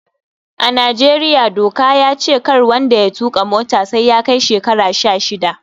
A Najeriya doka ya ce kar wanda ya tuƙa mota sai ya kai shekara sha shida